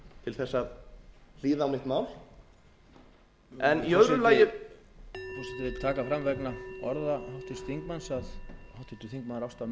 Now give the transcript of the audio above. til þess að hlýða á mitt mál forseti vill taka fram vegna orða háttvirts þingmanns að háttvirtur þingmaður